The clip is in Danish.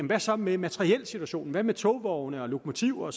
hvad så med materielsituationen hvad med togvogne og lokomotiver